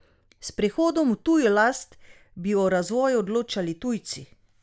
S prehodom v tujo last bi o razvoju odločali tujci.